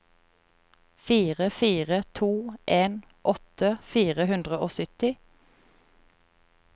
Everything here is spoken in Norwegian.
fire fire to en åtti fire hundre og sytti